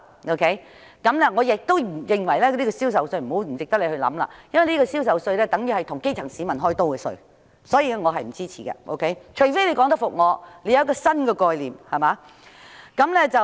我也認為政府不應考慮開徵銷售稅，因為增設這稅項等於向基層市民"開刀"，所以我並不支持，除非政府能提出新的概念說服我。